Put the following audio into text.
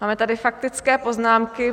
Máme tady faktické poznámky.